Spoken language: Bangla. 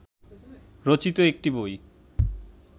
রচিত একটি বই